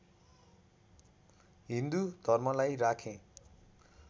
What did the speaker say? हिन्दू धर्मलाई राखेँ